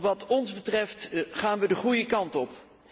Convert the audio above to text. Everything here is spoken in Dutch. Wat ons betreft, gaan we de goede kant op.